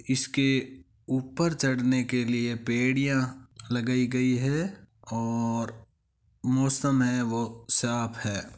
इसके ऊपर चढ़ने के लिए पेडीया लगाई गई है और मौसम है वो साफ है।